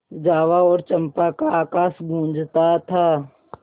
जावा और चंपा का आकाश गँूजता था